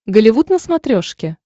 голливуд на смотрешке